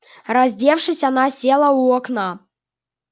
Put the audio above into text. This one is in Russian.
раздевшись она села у окна